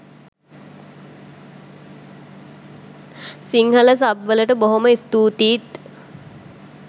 Sinhala sub වලට බොහොම ස්තුතියිත්